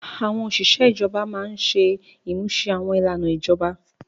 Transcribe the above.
Àwọn òṣìṣẹ́ ijọba máa ń ṣe ìmúṣẹ àwọn ìlànà ìjọba.